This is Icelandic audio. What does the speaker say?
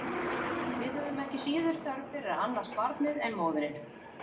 Við höfum ekki síður þörf fyrir að annast barnið en móðirin.